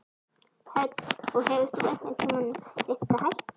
Hödd: Og hefur þú einhvern tímann reynt að hætta?